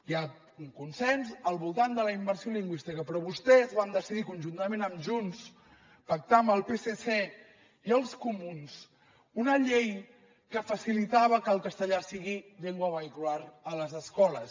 hi ha un consens al voltant de la immersió lingüística però vostès van decidir conjuntament amb junts pactar amb el psc i els comuns una llei que facilitava que el castellà sigui llengua vehicular a les escoles